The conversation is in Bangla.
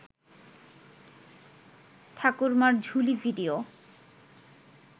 ঠাকুরমার ঝুলি ভিডিও